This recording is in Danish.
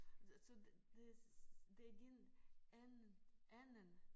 Så så det det din anden anden